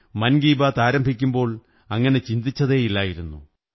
മൻ കീ ബാത് ആരംഭിക്കുമ്പോൾ അങ്ങനെ ചിന്തിച്ചതേ ഇല്ലായിരുന്നു